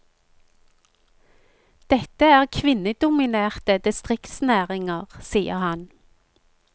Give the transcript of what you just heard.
Dette er kvinnedominerte distriktsnæringer, sier han.